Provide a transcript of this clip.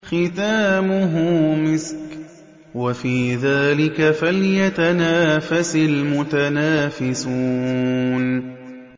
خِتَامُهُ مِسْكٌ ۚ وَفِي ذَٰلِكَ فَلْيَتَنَافَسِ الْمُتَنَافِسُونَ